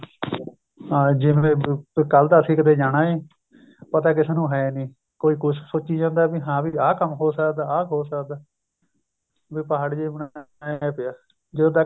ਹਾਂ ਜਿਵੇਂ ਕੱਲ ਤਾਂ ਅਸੀਂ ਕਿਤੇ ਜਾਣਾ ਏ ਪਤਾ ਕਿਸੇ ਨੂੰ ਹੈਨੀ ਕੋਈ ਕੁੱਝ ਸੋਚੀ ਜਾਂਦਾ ਹਾਂ ਵੀ ਆ ਕੰਮ ਹੋ ਸਕਦਾ ਆ ਹੋ ਸਕਦਾ ਵੀ ਪਹਾੜ ਜਾ ਬਣਾਇਆ ਪਿਆ ਜਦੋਂ ਤੱਕ